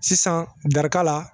Sisan da la